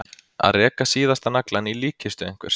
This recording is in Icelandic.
Að reka síðasta naglann í líkkistu einhvers